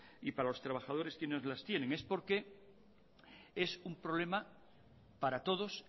y para los trabajadores las tienen es porque es un problema para todos